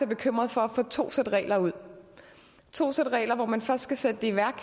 bekymret for at få to sæt regler ud to sæt regler hvor man først skal sætte det i værk